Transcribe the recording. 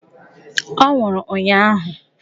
Ọ nwụrụ ụnyụahụ!